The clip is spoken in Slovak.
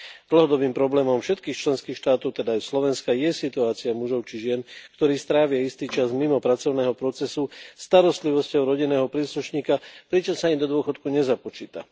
Dlhodobým problémom všetkých členských štátov, teda aj Slovenska, je situácia mužov či žien, ktorí strávia istý čas mimo pracovného procesu starostlivosťou o rodinného príslušníka, pričom sa im do dôchodku nezapočíta.